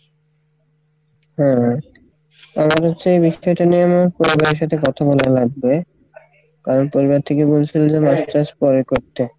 হ্যাঁ আমার হচ্ছে এই টা নিয়ে আমার পরিবারের সাথে কথা বলা লাগবে কারণ পরিবার থেকে বলছিলো যে masters পরে করতে।